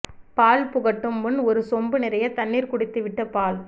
பால் புகட்டும் முன் ஒரு சொம்பு நிறைய தண்ணீர் குடித்துவிட்டு பால்